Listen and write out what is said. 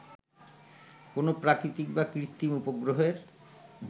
কোন প্রাকৃতিক বা কৃত্রিম উপগ্রহের